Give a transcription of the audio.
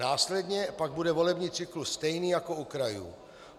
Následně pak bude volební cyklus stejný jako u krajů.